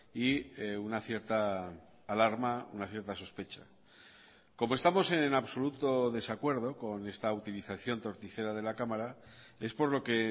y una cierta alarma una cierta sospecha como estamos en absoluto desacuerdo con esta utilización torticera de la cámara es por lo que